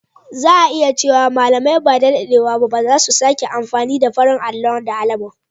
Za a iya cewa malamai ba da daɗewa ba za su sake amfani da farin allon da alamun.